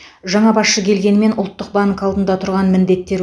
жаңа басшы келгенімен ұлттық банк алдында тұрған міндеттер